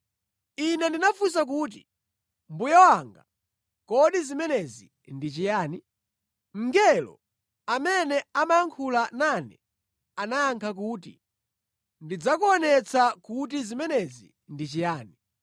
Ine ndinafunsa kuti, “Mbuye wanga, kodi zimenezi ndi chiyani?” Mngelo amene amayankhula nane anayankha kuti, “Ndidzakuonetsa kuti zimenezi ndi chiyani.”